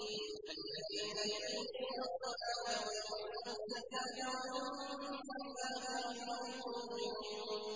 الَّذِينَ يُقِيمُونَ الصَّلَاةَ وَيُؤْتُونَ الزَّكَاةَ وَهُم بِالْآخِرَةِ هُمْ يُوقِنُونَ